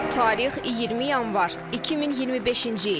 Tarix 20 yanvar 2025-ci il.